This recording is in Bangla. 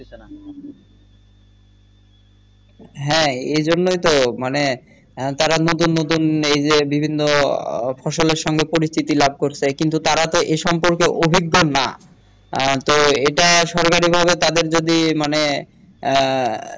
হ্যাঁ এজন্যেই তো মানে তারা নতুন নতুন এই যে বিভিন্ন ফসলের সঙ্গে পরিচিত লাভ করছে কিন্তু তারা তো এ সম্পর্কে অভিজ্ঞ না আহ তো এটা সরকারি ভাবে তাদের যদি মানে আহ